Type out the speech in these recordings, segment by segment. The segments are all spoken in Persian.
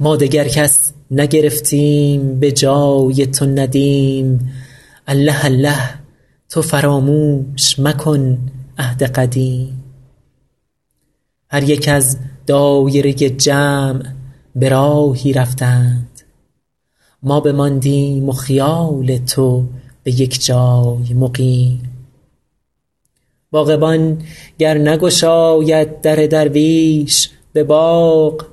ما دگر کس نگرفتیم به جای تو ندیم الله الله تو فراموش مکن عهد قدیم هر یک از دایره جمع به راهی رفتند ما بماندیم و خیال تو به یک جای مقیم باغبان گر نگشاید در درویش به باغ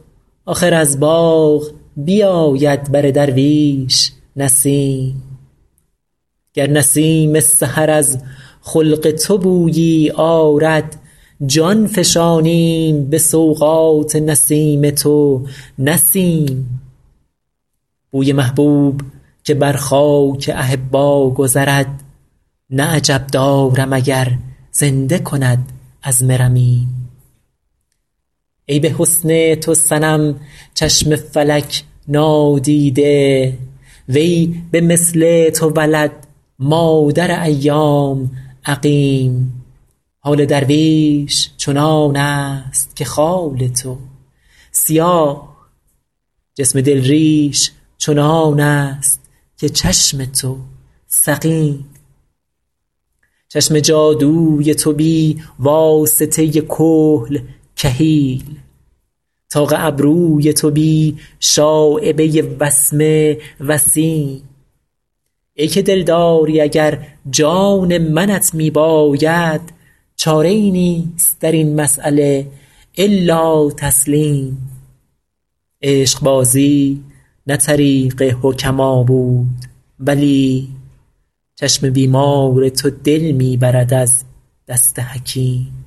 آخر از باغ بیاید بر درویش نسیم گر نسیم سحر از خلق تو بویی آرد جان فشانیم به سوغات نسیم تو نه سیم بوی محبوب که بر خاک احبا گذرد نه عجب دارم اگر زنده کند عظم رمیم ای به حسن تو صنم چشم فلک نادیده وی به مثل تو ولد مادر ایام عقیم حال درویش چنان است که خال تو سیاه جسم دل ریش چنان است که چشم تو سقیم چشم جادوی تو بی واسطه کحل کحیل طاق ابروی تو بی شایبه وسمه وسیم ای که دلداری اگر جان منت می باید چاره ای نیست در این مسأله الا تسلیم عشقبازی نه طریق حکما بود ولی چشم بیمار تو دل می برد از دست حکیم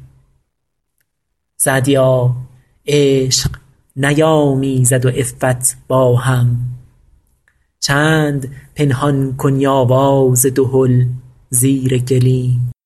سعدیا عشق نیامیزد و عفت با هم چند پنهان کنی آواز دهل زیر گلیم